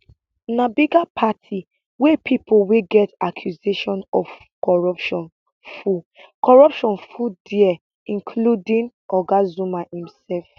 na bigger party wey pipo wey get accusation of corruption full corruption full dia including oga zuma imsef